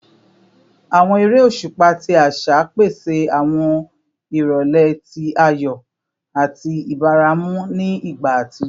Awọn ere oṣupa ti aṣa pese awọn irọlẹ ti ayọ ati ibaramu ni igba atijọ